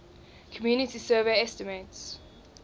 community survey estimates